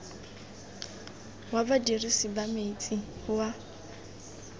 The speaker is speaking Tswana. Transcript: wa badirisi ba metsi wa